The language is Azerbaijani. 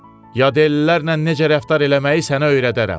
Yadellilərlə necə rəftar eləməyi sənə öyrədərəm.